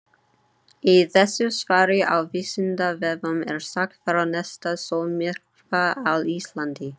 Í þessu svari á Vísindavefnum er sagt frá næsta sólmyrkva á Íslandi.